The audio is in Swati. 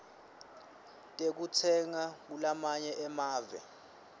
tekutsenga kulamanye emave